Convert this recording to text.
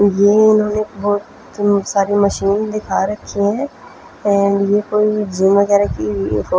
ये उन्होंने बहुत सारी मशीन दिखा रखी है और ये कोई जीम वगेरा की --